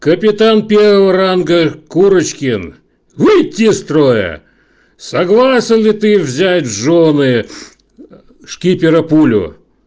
капитан первого ранга курочкин выйти из строя согласен ли ты взять в жены шкипера пулю